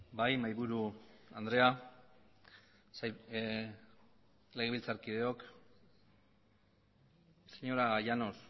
bai mahaiburu andrea legebiltzarkideok señora llanos